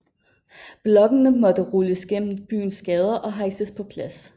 Blokkene måtte rulles gennem byens gader og hejses på plads